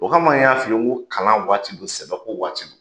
O kama n y'a f'i ye ko kalan waati bɛ yen sɛbɛko waati bɛ yen.